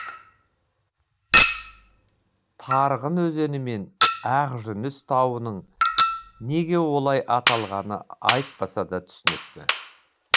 тарғын өзені мен ақ жүніс тауының неге олай аталғаны айтпаса да түсінікті